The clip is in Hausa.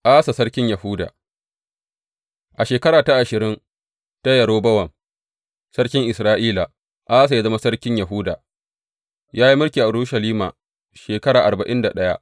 Asa sarkin Yahuda A shekara ta ashirin ta Yerobowam sarkin Isra’ila, Asa ya zama sarkin Yahuda, ya yi mulki a Urushalima shekara arba’in da ɗaya.